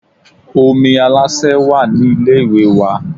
Omi Aláṣẹ wà ní ilé ìwẹ̀ wa